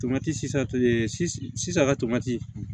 Tomati sisan a ka tomati